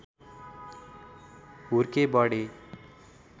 हुर्के बढे